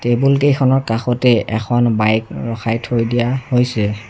টেবুলকেইখনৰ কাষতেই এখন বাইক ৰখাই থৈ দিয়া হৈছে।